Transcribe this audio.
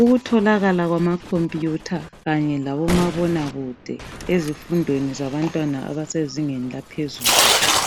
Ukutholakala kwamakhompiyutha kanye labomabonakude kude ezifundweni zabantwana abasezingeni laphezulu